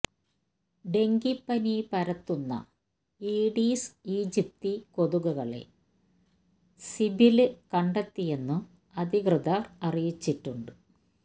ഡെങ്കിപ്പനി പരത്തുന്ന Aedes aegypti കൊതുകുകളെ സീബില് കണ്ടെത്തിയെന്നും അധികൃതര് അറിയിച്ചിട്ടുണ്ട്